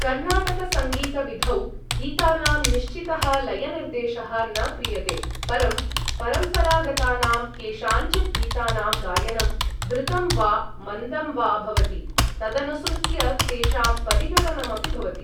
कर्णाटकसङ्गीतविधौ गीतानां निश्चितः लयनिर्देशः न क्रियते, परं परम्परागतानां केषाञ्चिद् गीतानां गायनं द्रुतं वा मन्दं वा भवति तदनुसृत्य तेषां परिगणनमपि भवति।